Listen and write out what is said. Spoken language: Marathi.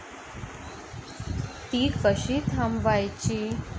ती कशी थांबवायची?